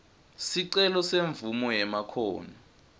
sicelo semvumo yemakhono